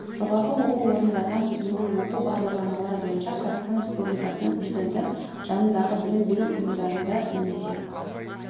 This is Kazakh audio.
жоғары оқу орындарынан кейінгі оқу бағдарламалары бойынша қазақстан республикасының президенті жанындағы білім беру ұйымдарында немесе